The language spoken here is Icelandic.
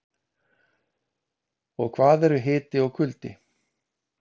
en hvað eru hiti og kuldi